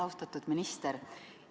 Austatud minister!